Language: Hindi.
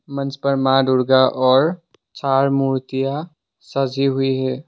मंच पर मां दुर्गा और चार मूर्तियां सजी हुई है।